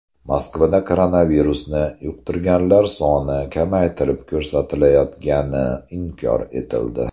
Moskvada koronavirusni yuqtirganlar soni kamaytirib ko‘rsatilayotgani inkor etildi.